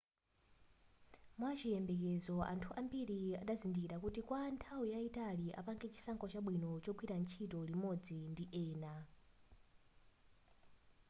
mwachiyembekezo anthu ambiri azadzindikira kuti kwa nthawi yayitali apange chisankho chabwino chogwira ntchito limodzi ndi ena